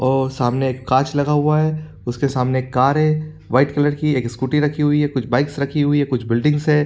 और सामने एक काँच लगा हुआ है उसके सामने एक कार है वाइट कलर की एक स्कूटी रखी हुई है कुछ बाइक्स रखी हुई है कुछ बिल्डिंग्स है।